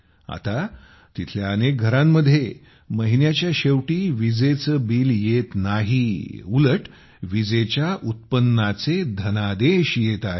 आता तिथल्या अनेक घरांमध्ये महिन्याच्या शेवटी विजेचे बिल येत नाही उलट विजेच्या उत्पन्नाचे धनादेश येत आहेत